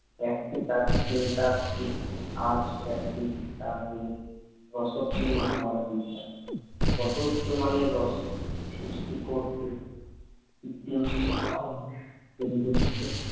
একটি তাঁর চিন্তার দিক আর একটি তাঁর রসোত্তীর্ণ হওয়ার দিক ত উচ্চমানের রসসৃষ্টি করতে তিনি সক্ষম, কত